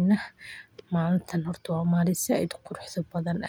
horumari karaan nafahooda iyo bulshadaba.